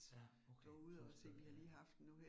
Ja, okay, sådan et sted ja ja